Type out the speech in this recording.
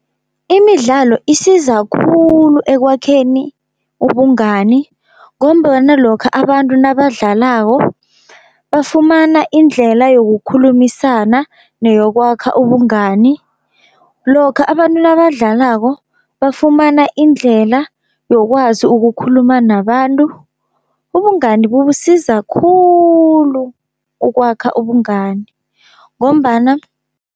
Imidlalo isiza khulu ekwakheni ubungani, ngombana lokha abantu nabadlalako bafumana indlela yokukhulumisana neyokwakha ubungani. Lokha abantu nabadlalako bafumana indlela yokwazi ukukhuluma nabantu, ubungani bubusiza khulu ukwakha ubungani ngombana